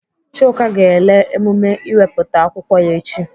Chuka ga-ele emume ịwepụta akwụkwọ ya echi.